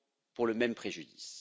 pour le même préjudice.